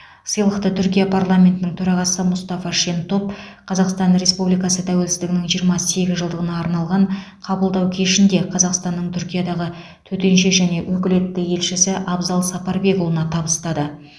сыйлықты түркия парламентінің төрағасы мұстафа шентоп қазақстан республикасы тәуелсіздігінің жиырма сегіз жылдығына арналған қабылдау кешінде қазақстанның түркиядағы төтенше және өкілетті елшісі абзал сапарбекұлына табыстады